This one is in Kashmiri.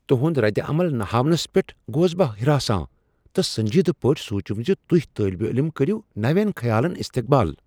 تہند ردِ عمل نہ ہاونس پیٹھ گوس بہ ہراسان تہ سنجیدہ پٲٹھی سوچُم زِ تُہۍ طالب علم کرِو نویٛن خیالن استقبال۔